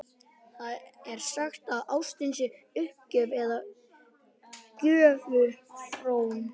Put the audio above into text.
Það er sagt að ástin sé uppgjöf eða göfug fórn.